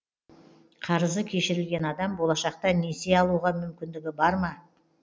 қарызы кешірілген адам болашақта несие алуға мүмкіндігі бар ма